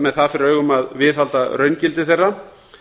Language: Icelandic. með það fyrir augum að viðhalda raungildi þeirra